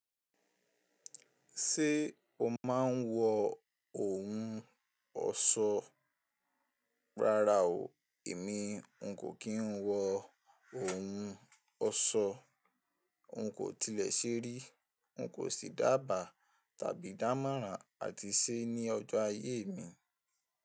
Ṣé o máa ń wọ ohun ọ̀ṣọ́? Rárá o, èmi n kò kí ń wọ ohun ọ̀ṣọ́. N kò tilẹ̀ ṣeri, n kò sì dábàá tàbí dámọ̀ran àti ṣe ní ọjọ́ ayé mi.